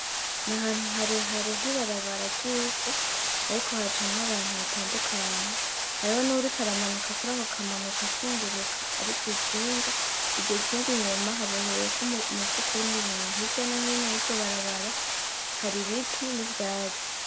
Nahantu harehare h'ibarabara ry'ivu ariko hacamwo abantu batandukanye. Hariho nuwuriko aramanuka kurako kamanuko ashunguruka ari kw'ikinga, iryo kinga inyuma haboheyeko umufuko urimwo ibintu. Hirya no hino y'iryo barabara haribiti n'ivyatsi.